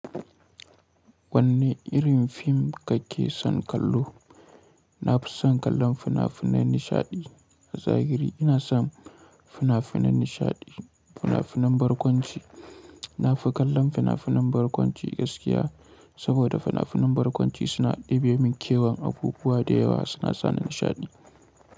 Wanne irin fim kake son kallo? Na fi son kallon fina-finan nishaɗi. A zahiri ina son fina-finan nishaɗi, fina-finan barkwanci. Na fi kallon fina-finan barkwanci gaskiya, saboda fina-finan barkwanci suna ɗebe min kewan abubuwa da yawa suna sa ni nishaɗi.